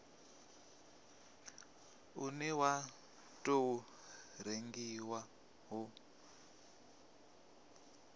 une wa tou rengiwa u